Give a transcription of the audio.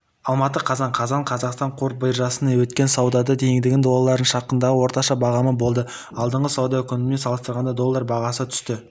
алматы қазан қаз қазақстан қор биржасында өткен саудада теңгенің долларына шаққандағы орташа бағамы болды алдыңғы сауда күнімен салыстырғанда доллар бағасы түсті